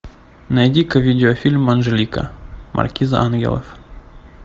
найди ка видеофильм анжелика маркиза ангелов